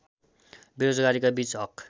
बेरोजगारीका बीच हक